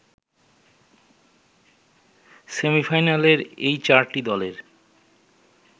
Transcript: সেমিফাইনালের এই চারটি দলের